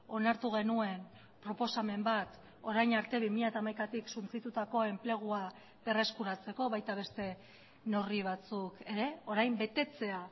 onartu genuen proposamen bat orain arte bi mila hamaikatik suntsitutako enplegua berreskuratzeko baita beste neurri batzuk ere orain betetzea